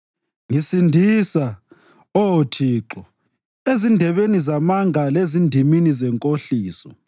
Ngisindisa, Oh Thixo, ezindebeni zamanga lezindimini zenkohliso.